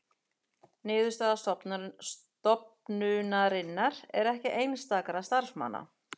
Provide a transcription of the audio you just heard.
Niðurstaða stofnunarinnar ekki einstakra starfsmanna